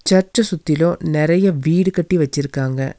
சர்ச்ச சுத்திலு நெறைய வீடுகட்டி வெச்சுருக்காங்க.